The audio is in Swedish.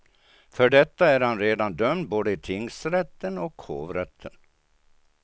För detta är han redan dömd både i tingsrätten och hovrätten.